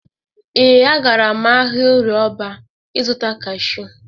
Ee, agara m ahịa Orịe Ọrba ị zụta kashu.